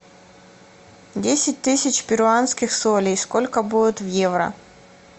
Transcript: десять тысяч перуанских солей сколько будет в евро